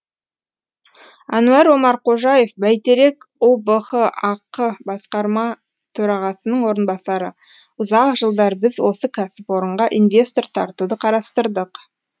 әнуар омарқожаев бәйтерек ұбх ақ басқарма төрағасының орынбасары ұзақ жылдар біз осы кәсіпорынға инвестор тартуды қарастырдық